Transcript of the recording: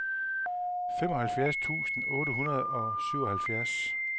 femoghalvfems tusind otte hundrede og syvoghalvfjerds